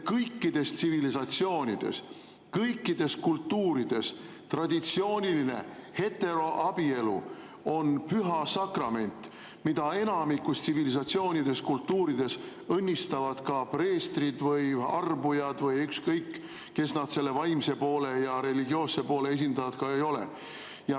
Kõikides tsivilisatsioonides, kõikides kultuurides on traditsiooniline heteroabielu püha sakrament, mida enamikus tsivilisatsioonides, kultuurides õnnistavad ka preestrid või arbujad või ükskõik kes selle vaimse ja religioosse poole esindajad ka ei ole.